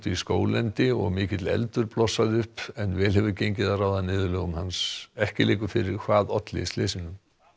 í skóglendi og mikill eldur blossaði upp en vel hefur gengið að ráða niðurlögum hans ekki liggur fyrir hvað olli slysinu